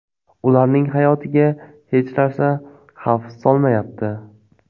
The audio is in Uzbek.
Ularning hayotiga hech narsa xavf solmayapti.